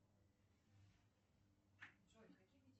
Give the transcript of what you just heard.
джой какие